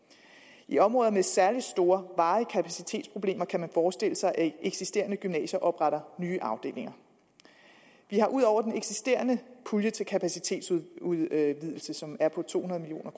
i områder med særlig store varige kapacitetsproblemer kan man forestille sig at eksisterende gymnasier opretter nye afdelinger vi har ud over den eksisterende pulje til kapacitetsudvidelse som er på to hundrede million